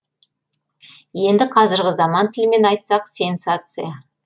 енді қазіргі заман тілімен айтсақ сенсация